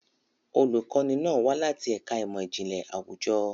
Olùkọ́ni náà wá láti ẹ̀ka ìmọ̀ ìjìnlẹ̀ àwùjọ.